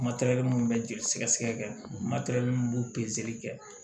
minnu bɛ joli sɛgɛsɛgɛ mun b'o pezeli kɛ